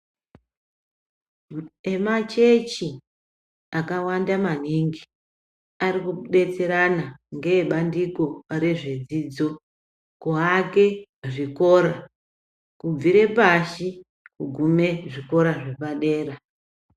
Emachechi akawanda maningi arikudetserana ngebandiko rezvedzidzo kuake zvikora kubvire pashi kugume zvikora zvepadera.